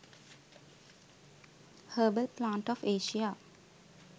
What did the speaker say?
herbal plant of asia